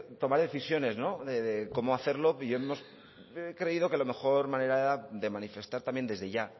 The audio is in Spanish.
tomar decisiones de cómo hacerlo y hemos creído que la mejor manera de manifestar también desde ya